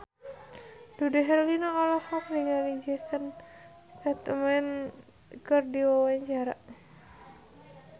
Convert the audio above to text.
Dude Herlino olohok ningali Jason Statham keur diwawancara